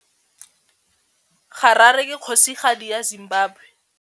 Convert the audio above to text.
Harare ke kgosigadi ya Zimbabwe.